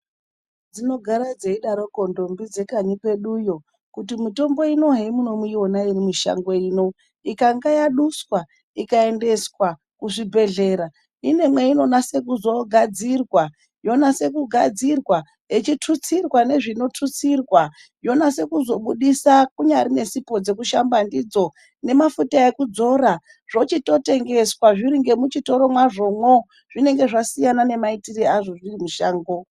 Dzinogara dzeidaroko ndombi dzekanyi kweduyo, kuti mitombo ino hemunoiona iri mushango ino ikanga yaduswa ikaendeswa kuzvibhedhlera, ine mweinonase kuzoogadzirwa yonase kugadzirwa, yechitutsirwa nezvinotutsirwa yonase kuzobudisa. Kunyari nesipo dzekushamba ndidzo, nemafuta ekudzora zvochitotengeswa zviri ngemuchitoro mwazvomwo. Zvinenge zvasiyana nemaitire azvo zviri mushango.